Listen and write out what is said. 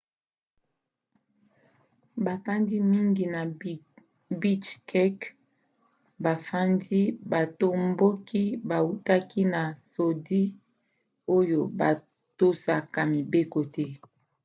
bafandi mingi ya bichkek bafundi batomboki bautaki na sudi oyo batosaka mibeko te